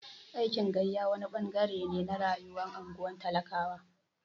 Aikin gayya wani ɓangare ne na rayuwar unguwar talakawa.